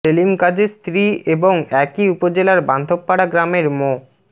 সেলিম গাজির স্ত্রী এবং একই উপজেলার বান্ধবপাড়া গ্রামের মো